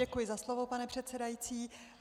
Děkuji za slovo, pane předsedající.